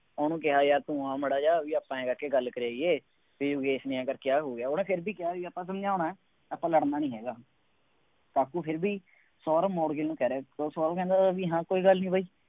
ਉਹਨੂੰ ਕਿਹਾ ਯਾਰ ਤੂੰ ਆ ਮਾੜਾ ਜਿਹਾ, ਬਈ ਆਪਾਂ ਆਂਏਂ ਕਰਕੇ ਗੱਲ ਕਰ ਆਈਏ, ਬਈ ਕਰਕੇ ਆਹ ਹੋ ਗਿਆ, ਉਹਨੇ ਫੇਰ ਵੀ ਕਿਹਾ ਬਈ ਆਪਾਂ ਸਮਝਾਉਣਾ, ਆਪਾਂ ਲੜਨਾ ਨਹੀਂ ਹੈਗਾ, ਕਾਕੂ ਫਿਰ ਵੀ ਸੌਰਵ ਮੋਡਗਿਲ ਨੂੰ ਕਹਿ ਰਿਹਾ ਸੀ ਤਾਂ ਸੋਰਵ ਕਹਿੰਦਾ ਬਈ ਹਾਂ ਕੋਈ ਗੱਲ ਨਹੀਂ ਬਾਈ,